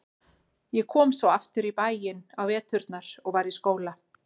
Ég kom svo aftur í bæinn á veturna og var í skóla.